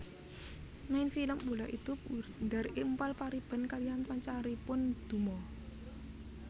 Main film Bola itu Bundar Impal Pariban kaliyan pancaripun Duma